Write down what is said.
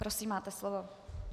Prosím, máte slovo.